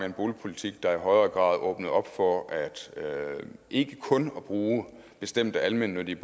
en boligpolitik der i højere grad åbnede op for ikke kun at bruge bestemte almennyttige